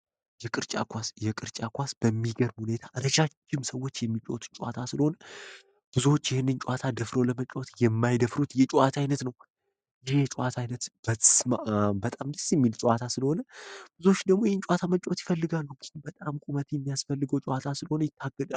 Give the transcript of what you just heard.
የቅርጫት ኳስ በሚገርም ሁኔታ ረጃጅም ሰዎች የሚጫወቱት ጨዋታ ስለሆነ ብዙዎች ይህንን ጨዋታ ደፍሮ ለመጫወት የማይደፍሩት የጨዋት ዓይነት ነው ይህ የጨዋታ አይነት በጣም ደስ የሚል ጨዋታ ስለሆነ ብዙዎች ደግሞ ይህን ጨዋታ መጫወት ይፈልጋሉ ግን በጣም ቁመት የሚያስፈልገው ጨዋታ ስለሆነ ይታገዳሉ።